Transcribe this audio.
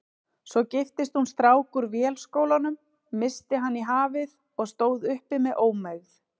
Svo giftist hún strák úr Vélskólanum, missti hann í hafið og stóð uppi með ómegð.